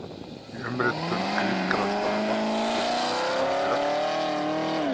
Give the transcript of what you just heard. Í umritun grískra stafa gilda eftirfarandi reglur